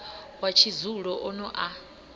wa tshidzulo o no a